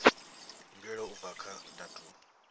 mbuelo u bva kha datumu